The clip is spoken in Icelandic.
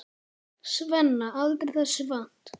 Svenna, aldrei þessu vant.